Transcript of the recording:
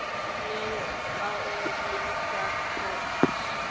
Ég á líka kex.